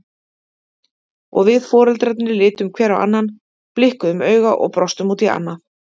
Og við foreldrarnir litum hver á annan, blikkuðum auga og brostum út í annað.